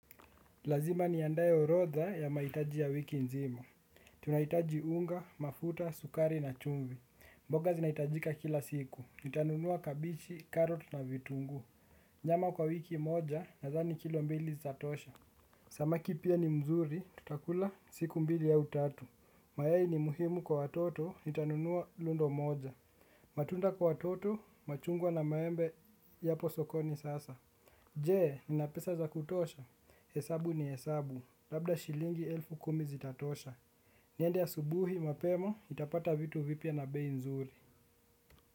Lazima niandae orodha ya mahitaji ya wiki nzima. Tunahitaji unga, mafuta, sukari na chumvi. Mboga zinahitajika kila siku. Nitanunua kabichi, karot na vitungu. Nyama kwa wiki moja nadhani kilo mbili zatatosha. Samaki pia ni mzuri. Tutakula siku mbili au tatu. Mayai ni muhimi kwa watoto. Nitanunua lundo moja. Matunda kwa toto. Machungwa na maembe. Yapo sokoni sasa. Je, ninapesa za kutosha. Hesabu ni hesabu, labda shilingi elfu kumi zitatosha. Niende asubuhi mapema, nitapata vitu vipya na bei nzuri.